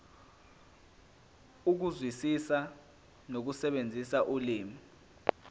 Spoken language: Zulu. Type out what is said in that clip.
ukuzwisisa nokusebenzisa ulimi